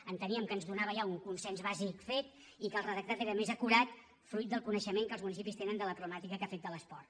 enteníem que ens donava ja un consens bàsic fet i que el redactat era més acurat fruit del coneixement que els municipis tenen de la problemàtica que afecta l’esport